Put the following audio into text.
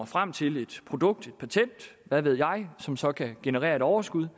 frem til et produkt eller et patent hvad ved jeg som så kan generere et overskud